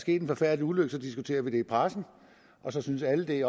sket en forfærdelig ulykke diskuterer vi det i pressen og så synes alle det